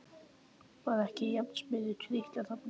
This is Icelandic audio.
Var ekki járnsmiður að trítla þarna?